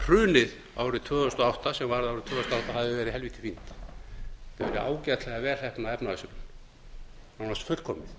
hrunið árið tvö þúsund og átta sem hafi verið helvíti fínt það væri ágætlega vel heppnað efnahagshrun nánast fullkomið